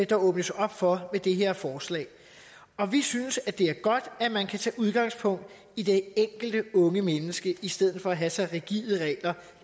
der åbnes op for med det her forslag og vi synes det er godt at man kan tage udgangspunkt i det enkelte unge menneske i stedet for at have så rigide regler